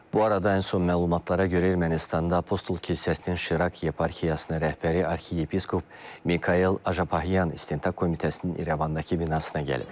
Bu arada ən son məlumatlara görə Ermənistanda Apostol kilsəsinin Şirak yeparxiyasına rəhbəri arxiyepiskop Mikayel Apayan İstintaq komitəsinin İrəvandakı binasına gəlib.